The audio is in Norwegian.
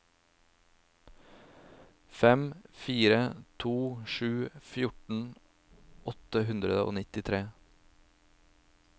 fem fire to sju fjorten åtte hundre og nittitre